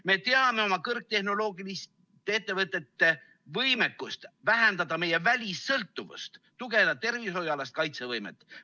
Me teame oma kõrgtehnoloogiliste ettevõtete võimekust vähendada meie välissõltuvust ja tugevdada tervishoiualast kaitsevõimet.